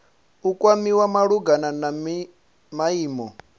u kwamiwa malugana na maimo